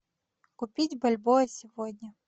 купить бальбоа сегодня